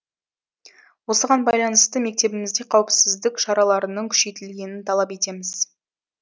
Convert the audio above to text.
осыған байланысты мектебімізде қауіпсіздік шараларының күшейтілгенін талап етеміз